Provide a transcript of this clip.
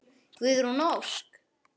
Guðrún Ósk.